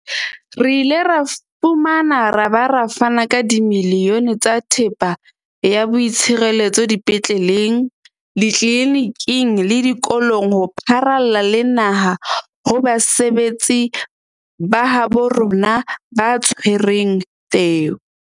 Re ile ra fumana ra ba ra fana ka dimilione tsa thepa ya boitshireletso dipetleleng, ditleliniking le dikolong ho pharalla le naha ho basebetsi ba habo rona ba tshwereng teu.